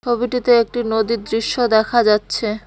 ছবিটিতে একটি নদীর দৃশ্য দেখা যাচ্ছে।